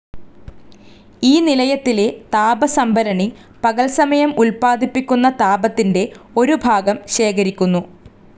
ഈ നിലയത്തിലെ താപസംഭരണി പകൽസമയം ഉൽപ്പാദിപ്പിക്കുന്ന താപത്തിന്റെ ഒരുഭാഗം ശേഖരിക്കുന്നു.